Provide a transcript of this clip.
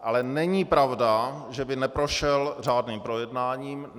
Ale není pravda, že by neprošel řádným projednáním.